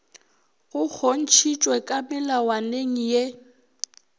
go kgontšhitšwe ka melawaneng ye